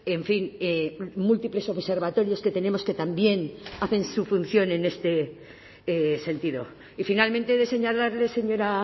en fin múltiples observatorios que tenemos que también hacen su función en este sentido y finalmente he de señalarle señora